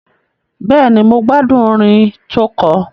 Bẹ́ẹ̀ni, mo gbádùn orin tó kọ.